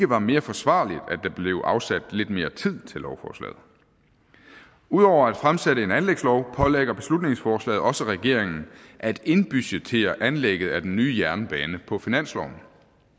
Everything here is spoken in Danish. var mere forsvarligt at der blev afsat lidt mere tid til lovforslaget ud over at fremsætte en anlægslov pålægger beslutningsforslaget også regeringen at indbudgettere anlægget af den nye jernbane på finansloven